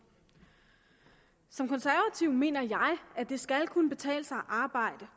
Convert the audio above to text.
som konservativ mener jeg at det skal kunne betale sig at arbejde